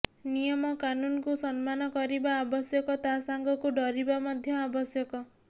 ନିୟମ କାନୁନକୁ ସମ୍ମାନ କରିବା ଆବଶ୍ୟକ ତା ସାଙ୍ଗକୁ ଡରିବା ମଧ୍ୟ ଆବଶ୍ୟକ